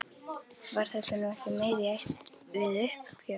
Var þetta nú ekki meira í ætt við uppgjöf?